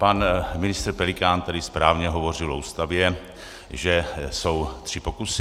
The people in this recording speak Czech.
Pan ministr Pelikán tady správně hovořil o Ústavě, že jsou tři pokusy.